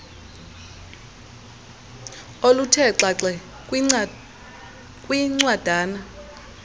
oluthe xaxe kwincwadana